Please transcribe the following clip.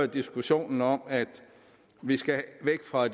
diskussionen om at vi skal væk fra